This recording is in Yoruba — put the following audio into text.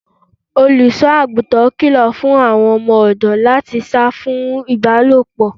Olùṣọ́-àgùntàn kilo fún àwọn ọdọ láti sá fún ibalopo.